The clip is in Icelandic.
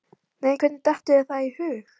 Nei, hvernig dettur þér það í hug?